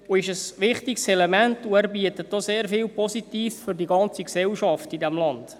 Er ist ein wichtiges Element und bietet auch sehr viel Positives für die ganze Gesellschaft in diesem Land.